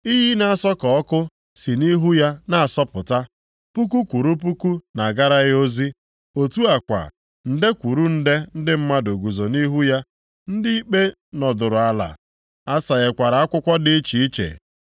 Iyi na-asọ ka ọkụ si nʼihu ya na-asọpụta. Puku kwụrụ puku na-agara ya ozi. Otu a kwa, nde kwụrụ nde ndị mmadụ guzo nʼihu ya. Ndị ikpe nọdụrụ ala, asaghekwara akwụkwọ dị iche iche.